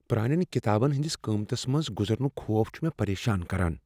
پرانیٚن ڪتابن ہٕنٛد قۭمتس منٛز گزرنک خوف چھ مےٚ پریشان کران۔